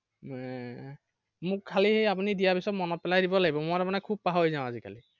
এৰ মোক খালি আপুনি দিয়াৰ পিছত মনত পেলাই দিব লাগিব, মই তাৰমানে খুব পাহৰি যাও আজিকালি।